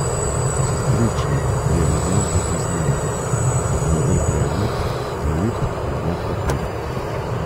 Sestrični je v dlan potisnila okrogel predmet, zavit v zlat papir.